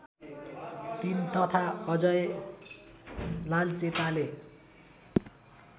३ तथा अजय लालचेताले